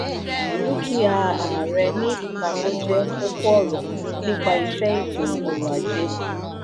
dúkìá ààrẹ ní ipamọ́ jẹ́ kókó-ọ̀rọ̀ nípa iṣẹ́ ètò ọrọ̀-ajé.